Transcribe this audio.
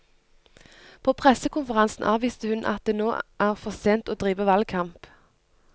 På pressekonferansen avviste hun at det nå er for sent å drive valgkamp.